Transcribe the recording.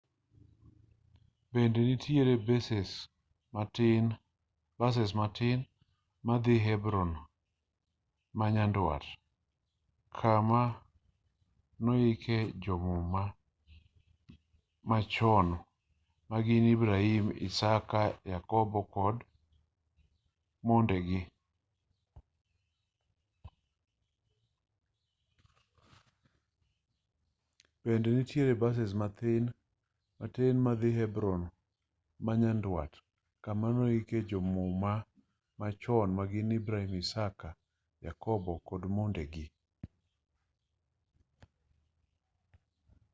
bende nitiere bases matin madhii hebron manyandwat kama noike jo-muma machon magin ibrahim isaka yakobo kod mondegi